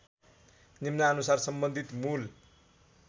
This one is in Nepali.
निम्नानुसार सम्बन्धित मूल